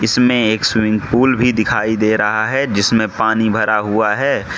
इसमें एक swimming pool भी दिखाई दे रहा है जिसमें पानी भरा हुआ है।